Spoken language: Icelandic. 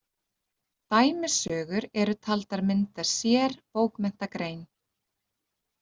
Dæmisögur eru taldar mynda sér bókmenntagrein.